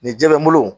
Nin jɛ n bolo